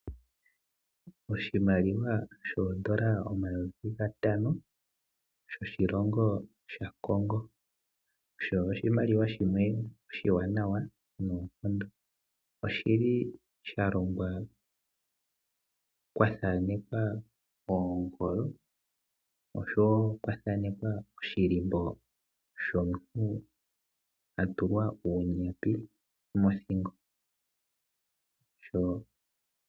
Oshimaliwa shoodollar omayovi gatano shoshilongo shaCongo. Osho oshimaliwa shimwe oshiwanawa noonkondo. Oshili sha longwa kwathanekwa oongolo. Oshowo kuli kwathanekwa oshilimbo shomuntu a tulwa uunyapi mothingo.